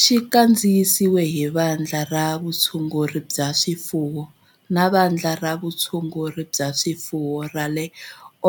Xi kandziyisiwe hi Vandla ra Vutshunguri bya swifuwo ra Vandla ra Vutshunguri bya swifuwo ra